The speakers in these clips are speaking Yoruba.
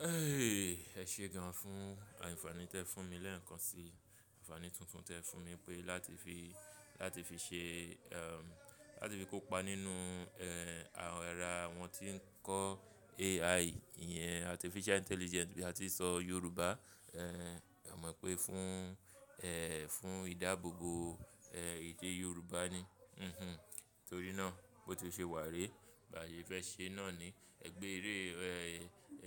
Ẹ ṣe gan fún àǹfààní tí ẹ fún mi lẹ́ẹ̀kan sí àǹfààní tuntun tí ẹ fún mi pé láti fi, láti fi ṣe, ẹm, láti fi kópa nínú, ẹ́, àwọn ara àwọn tí ń kọ́ AI yẹn, artificial intelligence bí a ti ń sọ Yorùbá, ẹ́, a mọ̀ pé fún, ẹ́, fún ìdáàbòbò, ẹ́, èdè Yorùbá ni. Ẹ̀hẹn, nítorí náà bó ti ṣe wà ré, bà sè fẹ́ ṣe náa ni. Ẹ béeré,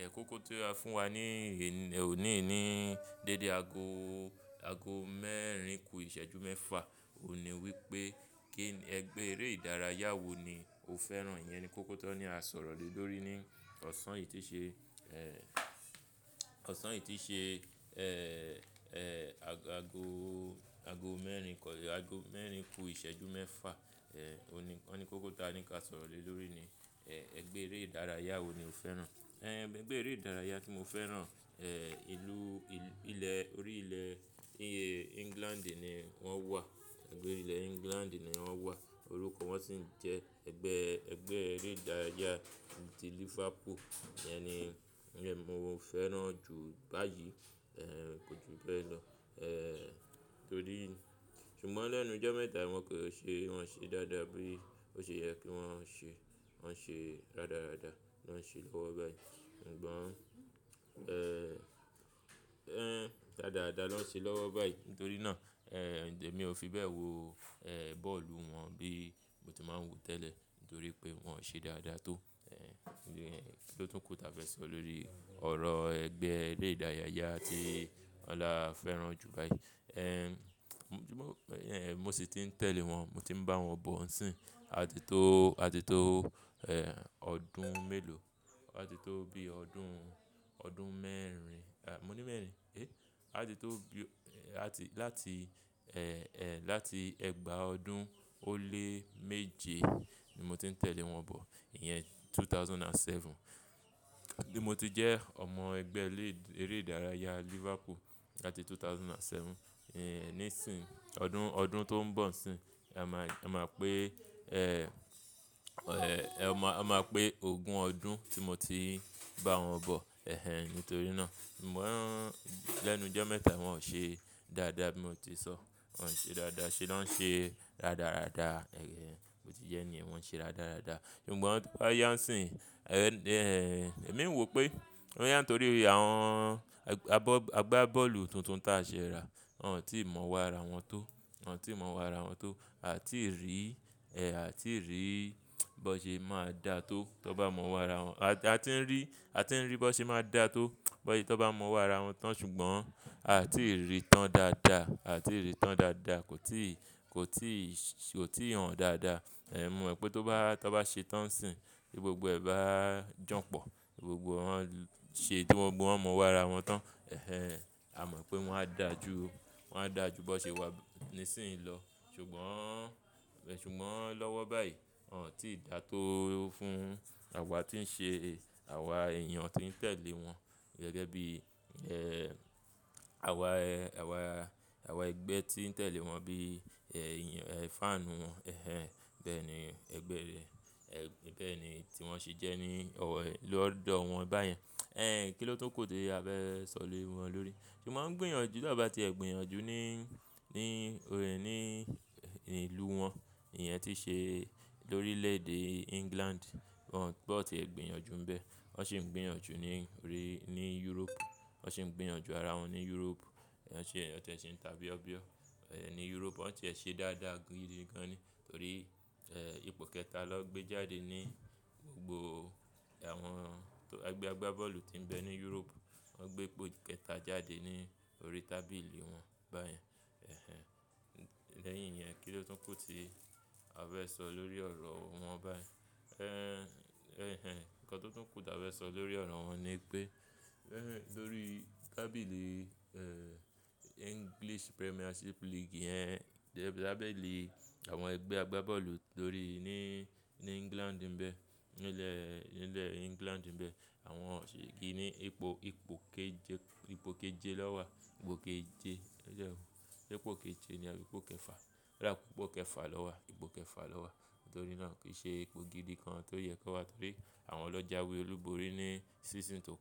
ẹ́, kókó tó ra fún wa ní, ní, òní, ní dédé ago, ago mẹ́rin kù ìṣẹ́jú mẹ́fa, òní wí pé kí n, Ẹ gbé eré ìdárayá wo ni o fẹ́ràn? Iyẹn ni kókó tó ni a sọ̀rọ̀ lè lórí ní ọ̀sán yìí tí ṣe, ẹ́, ọ̀sán yìí tí ṣe, ẹ́, ẹ́, ago, ago mẹ́rin kù, ago mẹ́rin kù ìṣẹ́jú mẹ́fa. Ẹ̀hẹn, òní, wọ́n ni kókó táa ni ka sọ̀rọ̀ lè lórí ni, ẹ́, Ẹ gbé eré ìdárayá wo ni o fẹ́ràn? Ẹ̀hẹn, Ẹ gbé eré ìdárayá tí mo fẹ́ràn, ẹ́, ìlú, ilẹ̀, orí ilẹ̀ yẹn England ni wọ́n wà. Ẹ̀gbé orí ilẹ̀ England ni wọ́n wà. Orúkọ wọn sì ń jẹ́ ẹgbẹ́, ẹgbẹ́ eré ìdárayá ti Liverpool. Iyẹn ni, iyẹn mo fẹ́ràn jù báyìí, ẹ́, kò jù bẹ́ẹ̀ lọ. Ẹ̀hẹn, nítorí, ṣùgbọ́n lẹ́nu jọ́ mẹ́ta wọn kò ṣe, wọn ṣe dáadáa bí ó ṣe yẹ kí wọ́n ṣe. Wọ́n ṣe rádaràda ló ń ṣe lọ́wọ́ báyìí. Ṣùgbọ́n, ẹ́, ẹ́, rádaràda ló ń ṣe lọ́wọ́ báyìí. Nítorí náà, ẹ́, èmi ò fi bẹ́ẹ̀ wo, ẹ́, bọ́ọ̀lù wọn bí mo ti máa ń wòó tẹ́lẹ̀. Nítorí pé wọn ṣe dáadáa tó. Ẹ̀hẹn, kí ló tún kù tí a fẹ́ sọ lórí ọ̀rọ̀ ẹgbẹ́ eré ìdárayá tí Ọlá fẹ́ràn jù báyìí? Ẹ̀hẹn, mo sì ti ń tẹ̀lé wọn, mo ti ń bá wọn bọ̀ nsìín à titó, àti tó, ẹ́, ọdún mélòó, àti tó bí i ọdún, ọdún mẹ́rin, à, mo ní mẹ́rin, ẹ́, àti tó bí i, àti, láti, ẹ́, ẹ́, láti ẹgbàá ọdún ó lé méje ni mo ti ń tẹ̀lé wọn bọ̀. Iyẹn ẹgbẹ̀rún méjì ó lé méje. Ti mo ti jẹ́ ọmọ ẹgbẹ́ eré ìdárayá Liverpool láti 2007. Ẹ̀hẹn, ní ìsìn, ọdún, ọdún tó ń bọ̀ sìín, a máa, a máa pé, ẹ́, ẹ́, ẹ máa, a máa pé ogún ọdún tí mo ti bá wọn bọ̀. Ẹ̀hẹn, nítorí náà, ṣùgbọ́n lẹ́nu ijọ́ mẹ́ta wọn ò ṣe dáadáa bí mo ti sọ. Wọn ò ṣe dáadáa ṣe, ló ń ṣe rádaràda. Ẹ̀hẹn, bò tí jẹ́ ní yen wọn ṣe rádaràda. Ṣùgbọ́n tó bá yá nsìín, ẹ́, èmi ń wò pé, bóyá n nítorí àwọn ẹgbẹ́ agbá bọ́ọ̀lù tuntun tí a ṣe ra, wọn ò tí ì mọwó ara wọn tó. Wọn ò tí ì mọ wá ara wọn tó. A ò tíì rí, ẹ́, a ò tíì rí bó ṣe máa dà tó tó bá mọ wá ara wọn. A ti ń rí, a ti ń rí bó ṣe máa dà tó bó ṣe tó bá mọ wá ara wọn tán. Ṣùgbọ́n a ò tí ì rí tán dáadáa. A ò tí ì rí tán dáadáa. Kò tíì, kò tíì, kò tíì hàn dáadáa. Ẹ̀mọ̀ pé tó bá, tó bá ṣe tán sìín, bí gbogbo ẹ̀ bá jọ̀pọ̀, gbogbo wọn ṣe bí wọn mọ wá ara wọn tán, ẹ̀hẹn, a mọ̀ pé wọ́n á dà ju, wọ́n á dà ju bó ṣe wà ní sìín lọ. Ṣùgbọ́n, ṣùgbọ́n lọ́wọ́ báyìí, wọn ò tí dà tó fún àwa tí ń ṣe, àwa èèyàn tó ń tẹ̀lé wọn gẹ́gẹ́ bí, ẹ́, àwa, àwa, àwa ẹgbẹ́ tí ń tẹ̀lé wọn bí, ẹ́, ìyàn, ẹ́, fáànù wọn. Ẹ̀hẹn, bẹ́ẹ̀ ni ẹgbẹ́ rẹ, ẹ́, bẹ́ẹ̀ ni tí wọ́n ṣe jẹ́ ní ọ̀wọ́, lọ́dọ̀ wọn báyẹn. Ẹ́, kí ló tún kù tí a fẹ́ sọ lè wọ́n lórí? Ṣùgbọ́n wóń gbìyànjú tán bá ti ẹ̀ gbìyànjú ní, ní, ní ìlú wọn. Iyẹn tí ṣe lórílẹ̀ èdè England. Bọn tíe gbìyànjú ń bẹ. Wọ́n sì ń gbìyànjú ní, ní Europe. Wọ́n sì ń gbìyànjú ara wọn ní Europe. Wọ́n sì ń tà bíọ́ bíọ́ ní Europe. Wọ́n sì ń ṣe dáadáa gidi gan ni. Nítorí, ẹ́, ipò kẹta lọ gbé jáde ní gbogbo àwọn ẹgbẹ́ agbá bọ́ọ̀lù tí ń bẹ ní Europe. Wọ́n gbé ipò kẹta jáde ní orí tábìlì wọn báyẹn. Ẹ̀hẹn, lẹ́yìn iyẹn kí ló tún kù tí a fẹ́ sọ lórí ọ̀rọ̀ wọn báyìí? Ẹ́, ẹ̀hẹn, nǹkan tó tún kù tí a fẹ́ sọ lórí ọ̀rọ̀ wọn ni pé, ẹ̀hẹn, lórí tábìlì, ẹ́, English Premiership League yẹn, tábìlì àwọn ẹgbẹ́ agbá bọ́ọ̀lù lórí, ní, ní England ń bẹ, nílẹ̀, nílẹ̀ England ń bẹ, àwọn sì gbin ní ipò, ipò kejẹ, ipò kejẹ lọ́ wà, ipò kejẹ, ẹ̀jọ̀ọ́. Ṣé ipò kejẹ ni àbí ipò kẹfà? Ó dá pé ipò kẹfà lọ́ wà, ipò kẹfà lọ́ wà. Nítorí náà kìí ṣe ipò gidi kan tó yẹ kó wà torí àwọn lọ jáwé olúborí ní season tó kọjá.